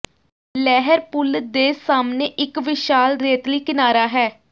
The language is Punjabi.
ਲਹਿਰ ਪੂਲ ਦੇ ਸਾਹਮਣੇ ਇਕ ਵਿਸ਼ਾਲ ਰੇਤਲੀ ਕਿਨਾਰਾ ਹੈ